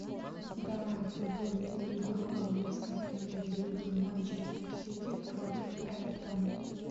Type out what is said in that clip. давай футбольную игру английской премьер лиги манчестер сити против эвертона